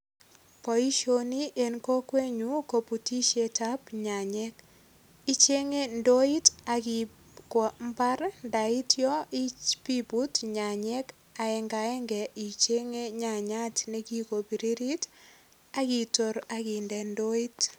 Boisioni eng kokwenyu kobutisiet ab nyanyek. Ichenge ndoit ak iip kwo imbar ndaityo ipiput nyanyek aengagenge inyenge nyanyat ne kikopiririt ak itor ak inde ndoit.